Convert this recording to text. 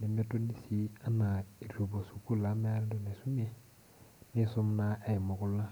nemetoni sii eitu epuo sukul amu meeta entoki naisumie ,neisumare naa aiumu kulo mashungua.